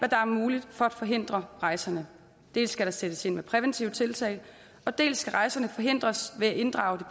der er muligt for at forhindre rejserne dels skal der sættes ind med præventive tiltag dels skal rejserne forhindres ved at inddrage